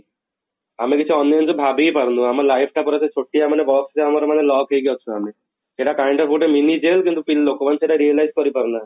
ଆମେ କିଛି ଅନ୍ୟ ଜିସିଷ ଭାବି ହିଁ ପାରୁନୁ ଆମ life ଟା ପୁରା ସେ ଛୋଟିଆ ମାନେ box ରେ ଆମର ମାନେ lock ହେଇକି ଅଛୁ ଆମେ ସେଟା kind of ଗୋଟେ mini jail କିନ୍ତୁ ଲୋକ ମାନେ ସେଇଟା realize କରିପାରୁନାହାନ୍ତି